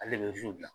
Ale de bɛ zi la